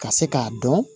Ka se k'a dɔn